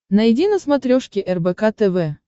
найди на смотрешке рбк тв